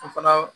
O fana